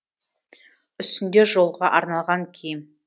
үстінде жолға арналған киім